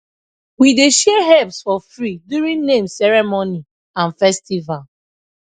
we dey share herbs for free during name ceremony and festival